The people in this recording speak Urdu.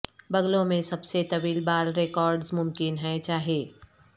بغلوں میں سب سے طویل بال ریکارڈز ممکن ہیں چاہے